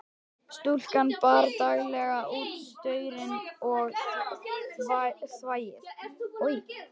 Stúlkan bar daglega út saurinn og þvagið.